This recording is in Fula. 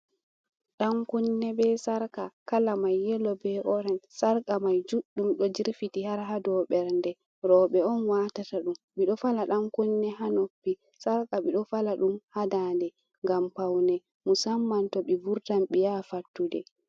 Ɗankunne be sarka, kala mai yelo be orench, sarka mai juɗdum ɗo jirfiti har ha dow ɓer nde, roɓe on watata ɗum, ɓiɗo fala ɗankunne hanoppi, sarka ɓiɗo fala ɗum ha daa nde gam paune, musamman to ɓe vurtan ɓe ya fattude.